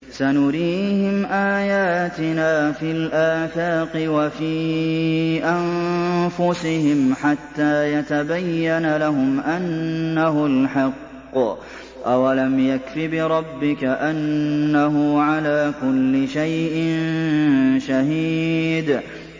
سَنُرِيهِمْ آيَاتِنَا فِي الْآفَاقِ وَفِي أَنفُسِهِمْ حَتَّىٰ يَتَبَيَّنَ لَهُمْ أَنَّهُ الْحَقُّ ۗ أَوَلَمْ يَكْفِ بِرَبِّكَ أَنَّهُ عَلَىٰ كُلِّ شَيْءٍ شَهِيدٌ